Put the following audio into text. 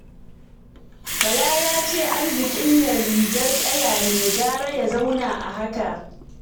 Bala ya ce arzikin nan rigar ƙaya ne, gara ya zauna a haka